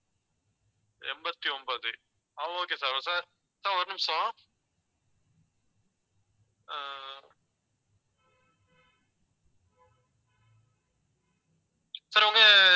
எண்பத்தி ஒன்பது ஆஹ் okay sir, sir, sir ஒரு நிமிஷம் ஆஹ் sir உங்க